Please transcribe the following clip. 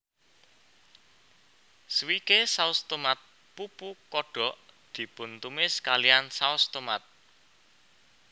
Swike saus tomat pupu kodok dipuntumis kalihan saos tomat